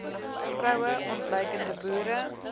vroue ontluikende boere